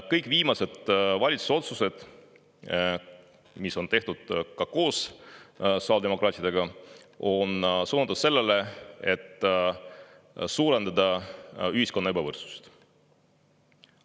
Kõik viimased valitsuse otsused, mis on tehtud ka koos sotsiaaldemokraatidega, on suunatud sellele, et suurendada ühiskonna ebavõrdsust.